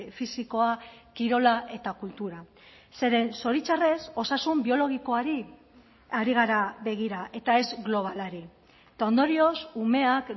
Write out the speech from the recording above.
fisikoa kirola eta kultura zeren zoritxarrez osasun biologikoari ari gara begira eta ez globalari eta ondorioz umeak